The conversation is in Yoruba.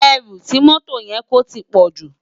Èrú ti mòtó yèn kó tipòjú